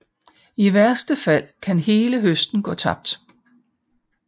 I værste fald kan hele høsten gå tabt